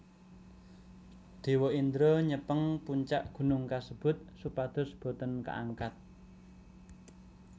Dewa Indra nyepeng puncak gunung kasebut supados boten kaangkat